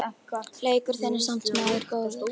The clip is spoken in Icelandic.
Leikur þinn er samt sem áður góður.